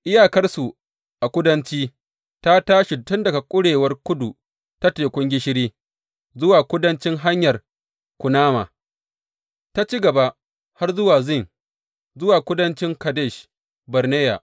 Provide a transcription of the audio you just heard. Iyakarsu a kudanci ta tashi tun daga kurewar kudu na Tekun Gishiri, zuwa kudancin Hanyar Kunama, ta ci gaba har zuwa Zin, zuwa kudancin Kadesh Barneya.